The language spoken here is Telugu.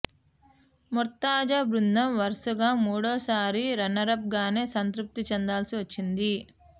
మొర్తజా బృందం వరుసగా మూడోసారి రన్నరప్ గానే సంతృప్తి చెందాల్సి వచ్చింది